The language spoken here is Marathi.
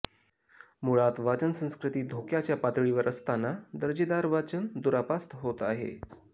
मुळात वाचन संस्कृती धोक्याच्या पातळीवर असताना दर्जेदार वाचन दुरापास्त होत आहे